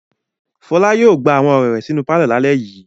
Fọlá yóò gba awọn ọ̀rẹ́ rẹ̀ sínú pálọ̀ lálejò yìí.